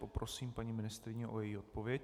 Poprosím paní ministryni o její odpověď.